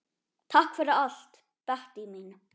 Takk fyrir allt, Bettý mín.